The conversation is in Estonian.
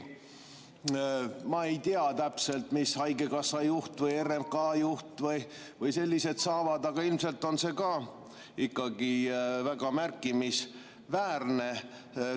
Ma ei tea täpselt, kui palju saavad haigekassa juht või RMK juht või sellised, aga ilmselt on see summa ka väga märkimisväärne.